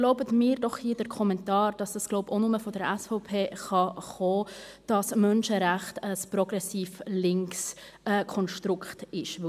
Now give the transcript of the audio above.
Erlauben Sie mir den Kommentar, dass die Idee wohl nur von der SVP stammen kann, dass die Menschenrechte ein progressivlinkes Konstrukt seien.